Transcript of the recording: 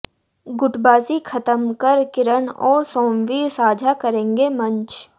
गुटबाजी खत्म कर किरण और सोमवीर साझा करेंगे मंच